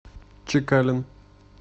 чекалин